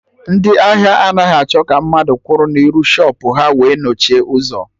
Ndị ahịa anaghị achọ ka mmadụ kwụrụ n'iru shọpụ ha wee nochie ụzọ